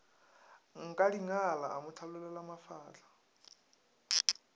nkadingala a mo hlanolela mafahla